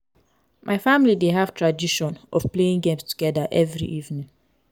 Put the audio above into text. my family dey have tradition of playing games together every evening.